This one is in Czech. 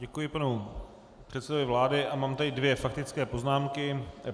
Děkuji panu předsedovi vlády a mám tady dvě faktické poznámky.